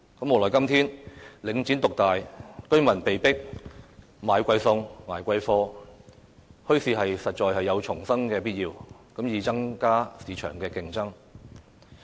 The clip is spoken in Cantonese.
無奈今天領展獨大，居民被迫"買貴餸"、"捱貴貨"，墟市實在有重生的必要，以增加市場競爭。